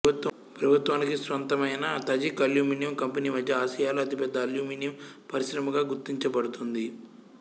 ప్రభుత్వానికి స్వంతమైన Tajik aluminium company మద్య ఆసియాలో అతిపెద్ద అల్యూమినియం పరిశ్రమగా గుర్తించబడుతుంది